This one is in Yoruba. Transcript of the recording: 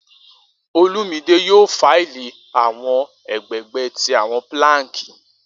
Olumide yoo file awọn egbegbe ti awọn planks.